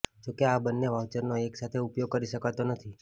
જો કે આ બંને વાઉચરનો એક સાથે ઉપયોગ કરી શકાતો નથી